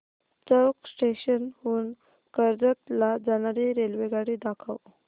चौक station हून कर्जत ला जाणारी रेल्वेगाडी दाखव